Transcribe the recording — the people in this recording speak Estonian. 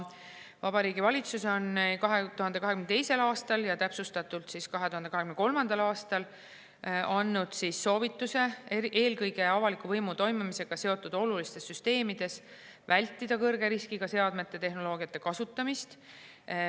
Vabariigi Valitsus on 2022. aastal ja täpsustatult 2023. aastal andnud soovituse eelkõige avaliku võimu toimimisega seotud olulistes süsteemides vältida kõrge riskiga seadmete ja tehnoloogia kasutamist.